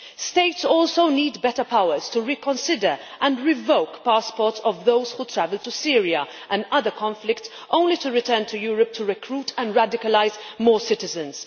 States also need better powers to reconsider and revoke passports of those who travel to Syria and other conflicts only to return to Europe to recruit and radicalise more citizens.